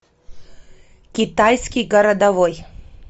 китайский городовой